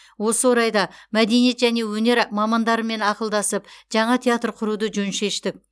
осы орайда мәдениет және өнер мамандарымен ақылдасып жаңа театр құруды жөн шештік